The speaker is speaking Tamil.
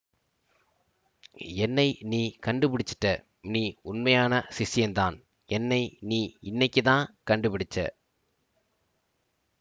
என்னை நீ கண்டுபிடிச்சுட்ட நீ உண்மையான சிஷ்யன்தான் என்னை நீ இன்னிக்குத்தான் கண்டுபிடிச்சே